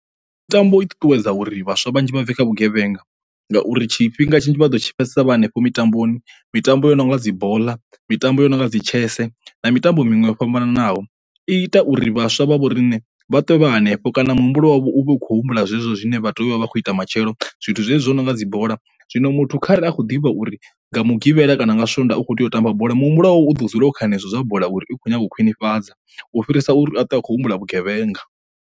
Mitambo i ṱuṱuwedza uri vhaswa vhanzhi vha bve kha vhugevhenga ngauri tshifhinga tshinzhi vha ḓo tshi pfhesesa vha hanefho mitamboni, mitambo yo no nga dzi boḽa mitambo yo no nga dzi tshese na mitambo miṅwe yo fhambanaho. I ita uri vhaswa vha vho rine vha to vha hanefho ende kana muhumbulo wavho uvha ukho humbula zwezwo zwine vha ḓovha vha kho ita matshelo zwithu zwezwi zwo no nga dzi bola, zwino muthu kharali a kho ḓivha uri nga mugivhela kana nga swondaha u kho tea u tamba bola muhumbulo u ḓo dzula kha henezwi zwa bola uri i khou nyanga u khwinifhadza u fhirisa uri a to akho humbula vhugevhenga.